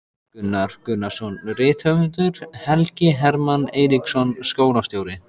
Gunnar Gunnarsson rithöfundur, Helgi Hermann Eiríksson skólastjóri